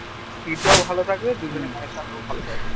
speed টা ভালো থাকবে আর দুজনের connection ও ভালো থাকবে